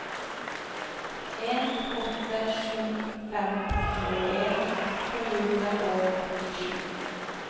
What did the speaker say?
en åtte sju fem tjueen to hundre og åttisju